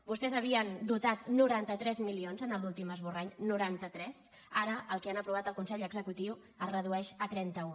vostès havien dotat noranta tres milions en l’últim esborrany noranta tres ara el que han aprovat al consell executiu es redueix a trenta un